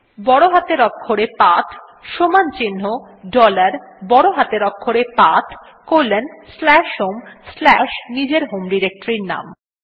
বড় হাতের অক্ষরে পাথ সমান চিন্হ ডলার বড় হাতের অক্ষরে path colon slash home slash নিজের হোম ডিরেক্টরীর নাম